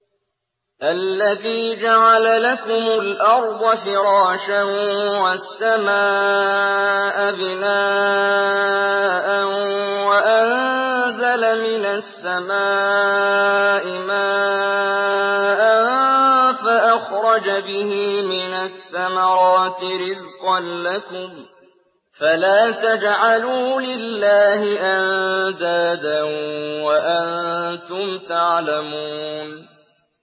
الَّذِي جَعَلَ لَكُمُ الْأَرْضَ فِرَاشًا وَالسَّمَاءَ بِنَاءً وَأَنزَلَ مِنَ السَّمَاءِ مَاءً فَأَخْرَجَ بِهِ مِنَ الثَّمَرَاتِ رِزْقًا لَّكُمْ ۖ فَلَا تَجْعَلُوا لِلَّهِ أَندَادًا وَأَنتُمْ تَعْلَمُونَ